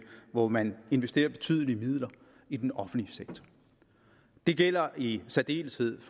hvor man investerer betydelige midler i den offentlige sektor det gælder i særdeleshed